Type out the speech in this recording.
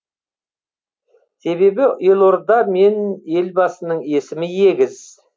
себебі елорда мен елбасының есімі егіз